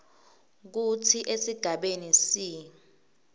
kutsi esigabeni c